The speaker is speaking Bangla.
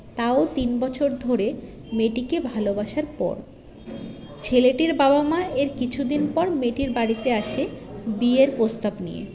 তাও তিনবছর ধরে মেয়েটিকে ভালোবাসার পর ছেলেটির বাবা মা এর কিছুদিন পর মেয়েটির বাড়িতে আসে বিয়ের প্রস্তাব নিয়ে